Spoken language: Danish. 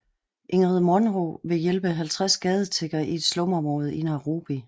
Ingrid Munro ville hjælpe 50 gadetiggere i et slumområde i Nairobi